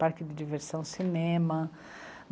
Parque de diversão, cinema.